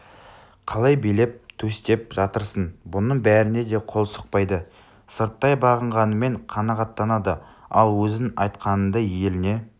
қалай билеп-төстеп жатырсың бұның бәріне де қол сұқпайды сырттай бағынғаныңмен қанағаттанады ал өзің айтқаныңды еліңе